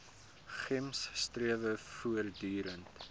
gems strewe voortdurend